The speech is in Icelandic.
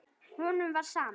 Honum var sama.